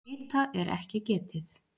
Hita er ekki getið.